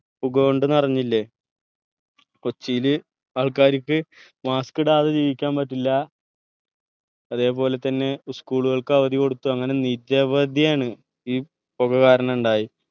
പുക കൊണ്ട് നിറഞ്ഞില്ലെ കൊച്ചിയിൽ ആൾക്കാര്ക്ക് mask ഇടാതെ ജീവിക്കാൻ പറ്റില്ല അതെ പോലെ തന്നെ school കൾക്ക് അവധികൊടുത്തു അങ്ങനെ നിരവധിയാണ് ഈ പുക കാരണം ഇണ്ടായി